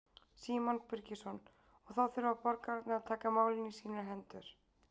Símon Birgisson: Og þá þurfa borgararnir að taka málin í sínar hendur?